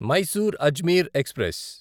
Mysore Ajmer express